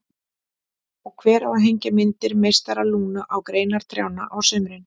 Og hver á að hengja myndir meistara Lúnu á greinar trjánna á sumrin?